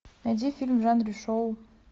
найди фильм в жанре шоу